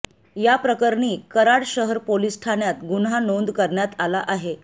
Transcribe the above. याप्रकरणी कराड शहर पोलिस ठाण्यात गुन्हा नोंद करण्यात आला आहे